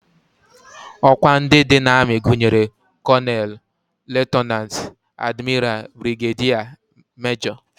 Ọkwa ndị dị n'amị gụnyere kọnel, lutenant, admiral, brigediya, mejọ